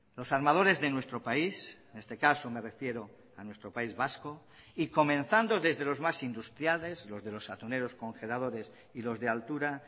los armadores de nuestro país en este caso me refiero a nuestro país vasco y comenzando desde los más industriales los de los atuneros congeladores y los de altura